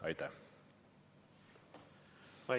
Aitäh!